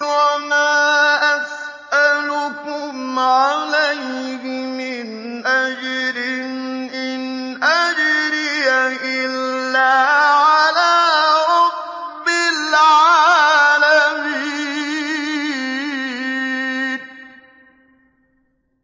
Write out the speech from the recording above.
وَمَا أَسْأَلُكُمْ عَلَيْهِ مِنْ أَجْرٍ ۖ إِنْ أَجْرِيَ إِلَّا عَلَىٰ رَبِّ الْعَالَمِينَ